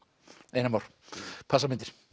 einar Már passamyndir